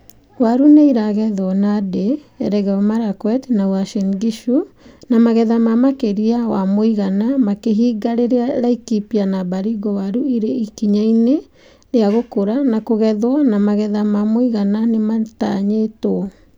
Waru nĩiragethwo Nandi, Elgeyo Marakwet na Uasin Gishu na magetha ma makĩria wa mũigana makĩhinga rĩrĩa Laikipia na Baringo waru irĩ ikinya-inĩ ria gũkũra na kũgethwo na magetha ma mũigana nĩmatanyĩtwo